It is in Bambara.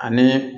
Ani